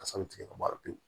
Kasa bɛ tigɛ ka mari